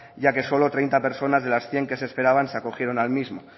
ya que solo treinta personas de las cien que se esperaban se acogieron al mismo